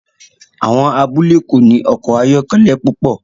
Àwọn abúlé kò ní ọkọ̀ ayọ́kẹ́lẹ́ púpọ̀